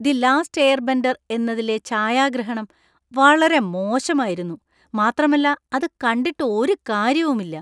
"The last airbender" എന്നതിലെ ഛായാഗ്രഹണം വളരെ മോശമായിരുന്നു , മാത്രമല്ല അത് കണ്ടിട്ട് ഒരു കാര്യവുമില്ല.